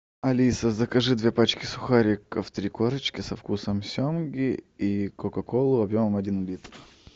алиса закажи две пачки сухариков три корочки со вкусом семги и кока колу объемом один литр